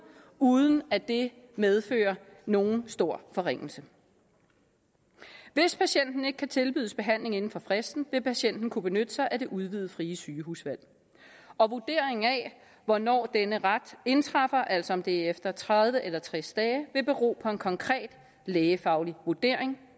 uden at det medfører nogen stor forringelse hvis patienten ikke kan tilbydes behandling inden for fristen vil patienten kunne benytte sig af det udvidede frie sygehusvalg og vurderingen af hvornår denne ret indtræffer altså om det er efter tredive eller tres dage vil bero på en konkret lægefaglig vurdering